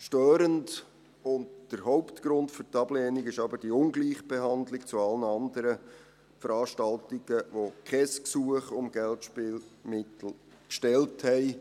Störend, und der Hauptgrund für die Ablehnung, ist aber die Ungleichbehandlung gegenüber allen anderen Veranstaltungen, die kein Gesuch um Geldspielmittel gestellt haben.